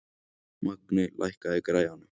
Magney, lækkaðu í græjunum.